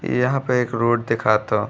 यहाँँ पे एक रोड देखाता।